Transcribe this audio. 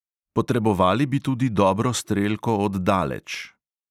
Potrebovali bi tudi dobro strelko od daleč.